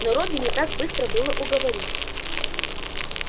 но робби не так быстро было уговорить